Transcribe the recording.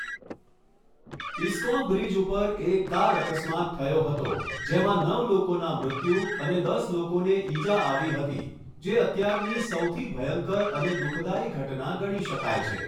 ISKCON bridge ઉપર એક car અકસ્માત થયો હતો જેમાં નવ લોકોનાં મૃત્યુ અને દસ લોકોને ઈજા આવી હતી જે અત્યારની સૌથી ભયંકર અને દુઃખદાયી ઘટના ગણી શકાય છે